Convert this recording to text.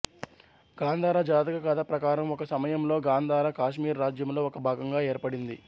గాంధార జాతక కథ ప్రకారం ఒక సమయంలో గాంధార కాశ్మీర్ రాజ్యంలో ఒక భాగంగా ఏర్పడింది